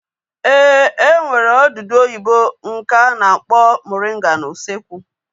Ee, e nwere odudu oyibo nke a na-akpọ moringa n'usekwu